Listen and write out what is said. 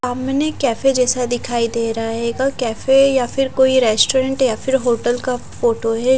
आमने कैफे जैसा दिखाई दे रहा हेगा कैफे या फिर कोई रेस्टोरेंट या फिर होटल का फोटो हैं ।